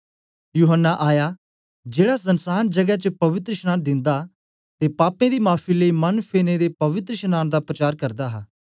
यूहन्ना आया जेड़ा सनसांन जगै च पवित्रशनांन दिंदा ते पापें दी माफी लेई मन फेरनें दे पवित्रशनांन दा प्रचार करदा हा